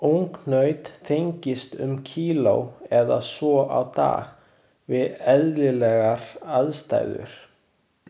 Ungnaut þyngist um kíló eða svo á dag við eðlilegar aðstæður.